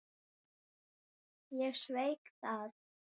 Ég sveik það.